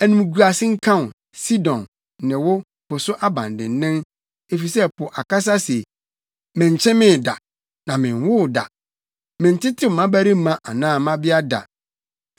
Animguase nka wo, Sidon, ne wo, po so abandennen, efisɛ po akasa se, “Menkyemee da, na menwoo da; mentetew mmabarima anaa mmabea da.”